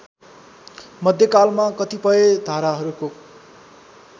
मध्यकालमा कतिपय धाराहरूको